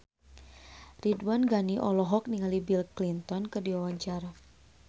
Ridwan Ghani olohok ningali Bill Clinton keur diwawancara